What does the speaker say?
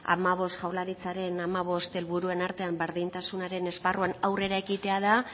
jaurlaritzaren hamabost helburuen artean berdintasunaren esparruan aurrera ekitea da